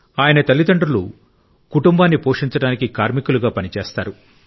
ఆయన తల్లిదండ్రులు కుటుంబాన్ని పోషించడానికి కార్మికులుగా పనిచేస్తారు